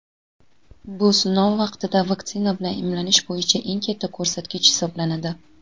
Bu sinov vaqtida vaksina bilan emlanish bo‘yicha eng katta ko‘rsatkich hisoblanadi.